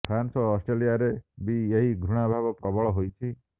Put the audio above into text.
France ଓ ଅଷ୍ଟ୍ରେଲିଆରେ ବି ଏହି ଘୃଣା ଭାବ ପ୍ରବଳ ହୋଇଛି